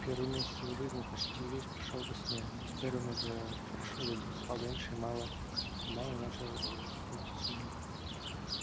первый месяц его жизни почти весь прошёл во сне но теперь он уже хорошо видел спал меньше и мало-помалу начинал знакомиться с миром